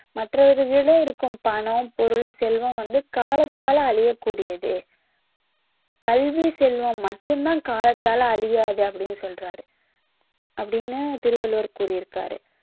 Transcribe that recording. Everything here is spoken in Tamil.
மற்றவர்களிடம் இருக்கும் பணம் பொருள் செல்வம் வந்து காலத்தால அழியக் கூடியது கல்வி செல்வம் மட்டும் தான் காலத்தால அழியாது அப்படின்னு சொல்றாரு அப்படின்னு திருவள்ளுவர் கூறியிருக்காரு